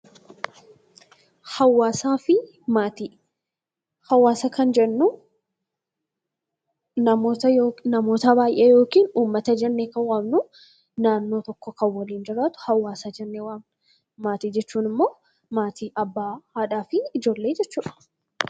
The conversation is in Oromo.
Hawaasa kan jennu namoota baay'ee yookiin uummata kan jennu naannoo tokko kan waliin jiraatu hawaasa jennaan maatii jechuun immoo abbaa, haadhaa fi ijoollee jechuudha.